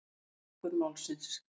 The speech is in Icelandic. Mergur Málsins.